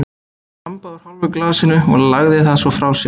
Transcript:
Hann þambaði úr hálfu glasinu og lagði það svo frá sér.